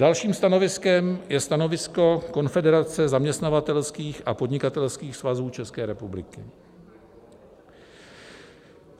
Dalším stanoviskem je stanovisko Konfederace zaměstnavatelských a podnikatelských svazů České republiky.